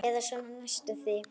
Eða svona næstum því.